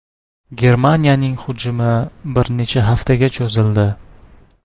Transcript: Germaniyaning hujumi bir necha haftaga cho‘zildi.